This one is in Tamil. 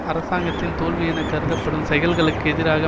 அரசாங்கத்தின் தோல்வி என கருதப்படும் செயல்களுக்கு எதிராக